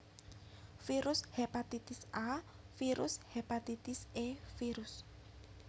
Virus Hepatitis A Virus Hepatitis E Virus